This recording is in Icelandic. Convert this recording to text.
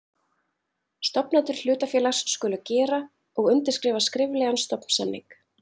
Stofnendur hlutafélags skulu gera og undirskrifa skriflegan stofnsamning.